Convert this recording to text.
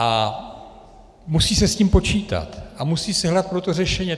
A musí se s tím počítat a musí se hledat pro to řešení.